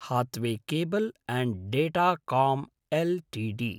Hathway cable and datacom Ltd